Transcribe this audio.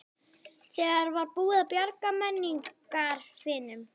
Þegar var búið að bjarga menningararfinum.